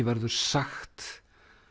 verður sagt